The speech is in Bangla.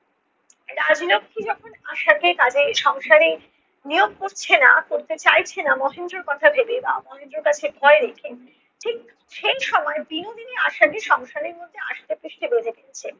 রাজলক্ষী যখন আশাকে কাজে সংসারে নিয়োগ করছে না করতে চাইছে না মহেন্দ্রর কথা ভেবে বা মহেন্দ্রর কাছে ভয়ে রেখে ঠিক সেই সময়ে বিনোদিনী আশাকে সংসারের মধ্যে আষ্টে পৃষ্টে বেঁধে ফেলছে।